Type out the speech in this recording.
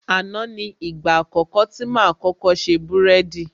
Àná ni ìgbà àkọ́kọ́ tí máa kọ́kọ́ ṣe búrẹ́dì